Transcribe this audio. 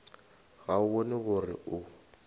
ga o bone gore o